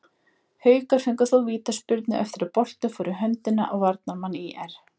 Haukar fengu þó vítaspyrnu eftir að boltinn fór í höndina á varnarmanni ÍR.